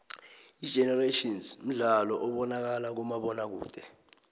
igenerations mdlalo obonakala kumabonakude